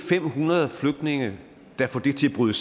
fem hundrede flygtninge der får det til at bryde